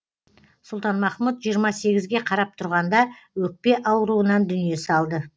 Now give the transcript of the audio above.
сұлтанмахмұт жиырма сегізге қарап тұрғанда өкпе ауруынан дүние салды